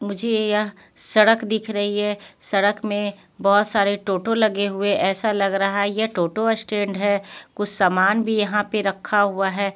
मुझे यह सड़क दिख रही है सड़क में बहुत सारे ऑटो लगे हुए ऐसा लग रहा है यह ऑटो स्टैंड है कुछ सामान भी यहां पे रखा हुआ है.